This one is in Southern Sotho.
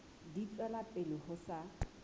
di tswela pele ho sa